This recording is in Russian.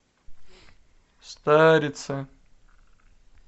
старице